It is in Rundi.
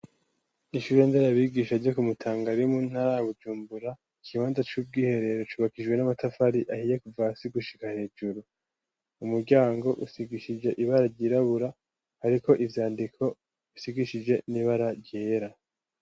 Ishure nderabigisha ryo ku Mutanga riri mu ntara Bujumbura ikibanda c'ubw'iherero cubakijwe n'amatafari ahiye kuva si gushika hejuru umuryango usigishije ibara ryirabura ariko ivyandiko isigishije n'ibara ryera .